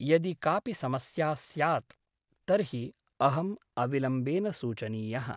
यदि कापि समस्या स्यात् तर्हि अहम् अविलम्बेन सूचनीयः ।